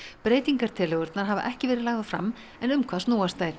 breytingartillögurnar hafa ekki verið lagðar fram en um hvað snúast þær